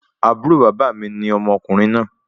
Àbúrò bàbá mi ni ọmọkùnrin náà